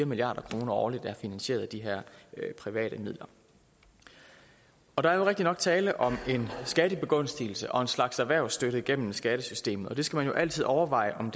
milliard kroner årligt er finansieret af de her private midler der er jo rigtigt nok tale om en skattebegunstigelse og en slags erhvervsstøtte gennem skattesystemet og det skal man jo altid overveje om